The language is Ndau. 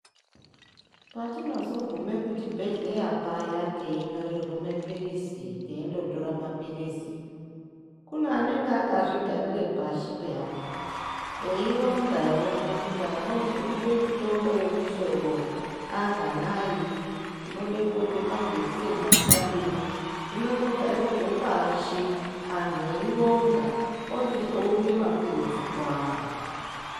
Patinozogume kuchibhedhleya paya teinyorerwe mapilizi tiindotore mapilizi kune anonga akazvigarire pasi peyani eyi ronga kuti anozwe mundani anganayi, tinode kuhodhe majekiseni akadini. Zvinotogarirwe pashi anhu eyi ronga ochizounze mapilizi kuantu